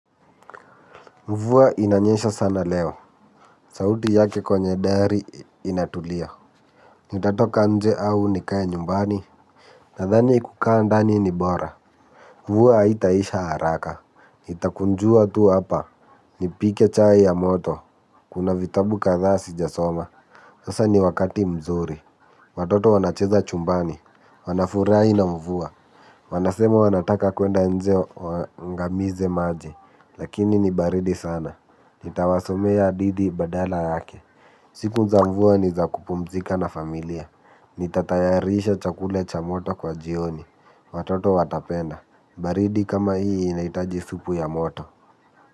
Mvua inanyesha sana leo, sauti yake kwenye dari inatulia. Nitatoka nje au nikae nyumbani, nadhani kukaa ndani ni bora. Mvua haitaisha haraka, itakunjua tu hapa, nipike chai ya moto, kuna vitabu kadhaa sijasoma. Sasa ni wakati mzuri, watoto wanacheza chumbani, wanafurahi na mvua wanasema wanataka kuenda nje waangamize maji, lakini ni baridi sana. Nitawasomea hadithi badala yake. Siku za mvua ni za kupumzika na familia. Nitatayarisha chakula cha moto kwa jioni. Watoto watapenda. Baridi kama hii inahitaji supu ya moto.